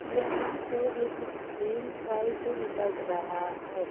यहां पे एक झील टाइप लग रहा है।